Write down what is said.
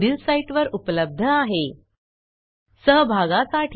ह्या ट्युटोरियलचे भाषांतर मनाली रानडे यांनी केले असून मी रंजना भांबळे आपला निरोप घेते160